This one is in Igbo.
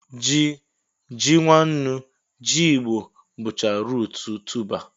Ji, ji nwannu, jigbọ, bụcha ruut tuba